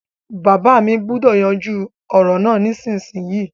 Bàbá mi gbúdọ̀ yanjú ọ̀rọ̀ náà nísinsinyì